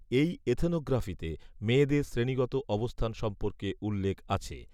এই এথনোগ্রাফিতে মেয়েদের শ্রেণিগত অবস্থান সম্পর্কে উল্লেখ আছে